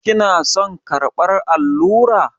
Kina son karɓar allura?